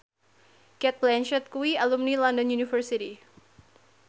Cate Blanchett kuwi alumni London University